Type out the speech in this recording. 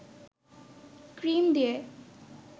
cream দিয়ে